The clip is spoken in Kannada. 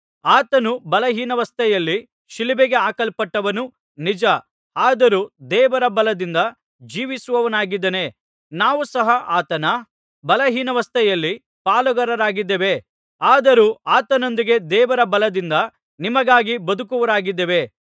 ಆತನು ಬಲಹೀನಾವಸ್ಥೆಯಲ್ಲಿ ಶಿಲುಬೆಗೆ ಹಾಕಲ್ಪಟ್ಟನು ನಿಜ ಆದರೂ ದೇವರ ಬಲದಿಂದ ಜೀವಿಸುವವನಾಗಿದ್ದಾನೆ ನಾವೂ ಸಹ ಆತನ ಬಲಹೀನಾವಸ್ಥೆಯಲ್ಲಿ ಪಾಲುಗಾರರಾಗಿದ್ದೇವೆ ಆದರೂ ಆತನೊಂದಿಗೆ ದೇವರ ಬಲದಿಂದ ನಿಮಗಾಗಿ ಬದುಕುವವರಾಗಿದ್ದೇವೆ